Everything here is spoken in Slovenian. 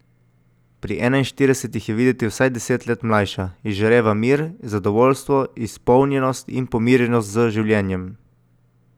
Pri enainštiridesetih je videti vsaj deset let mlajša, izžareva mir, zadovoljstvo, izpolnjenost in pomirjenost z življenjem.